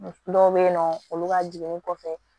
Dɔw bɛ yen nɔ olu ka jiginni kɔfɛ